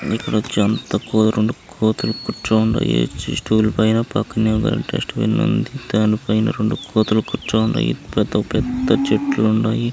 ఇక్కడొచ్చి ఏమో రెండు కోతులు కూర్చుని ఉన్నాయి పక్కనే ఒక డస్ట్ బిన్ ఉంది పైన రెండు కోతులు కుర్కని ఉన్నాయి పెద్ద చెట్లు ఉన్నాయి.